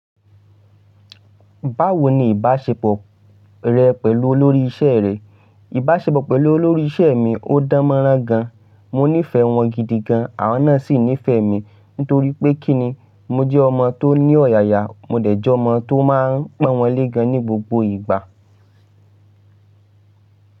Báwo ni ìbáṣepọ̀ rẹ pẹ̀lú olórí iṣẹ́ rẹ? Ìbáṣepọ̀ pẹ̀lú olórí iṣẹ́ mi ò dánmọ́rán gan. Mo nífẹ̀ẹ́ wọn gidi gan, àwọn náà sì nífẹ̀ẹ́ mi nítorí pé kí ni, mo jẹ́ ọmọ tó ní ọ̀yàyà, mo dẹ̀ jẹ́ ọmọ tó máa ń pọn wọn lé gan ní gbogbo ìgbà.